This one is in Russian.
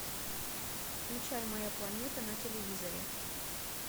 включай моя планета на телевизоре